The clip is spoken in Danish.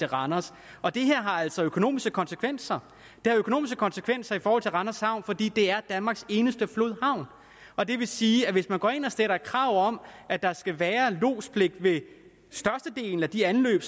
randers og det her har altså økonomiske konsekvenser det har økonomiske konsekvenser for randers havn fordi det er danmarks eneste flodhavn og det vil sige at hvis man går ind og stiller krav om at der skal være lodspligt ved størstedelen af de anløb